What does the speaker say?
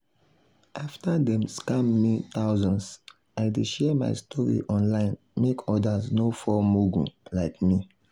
plenty people dey put retirement first by always dropping dropping small small money for their savings account steady.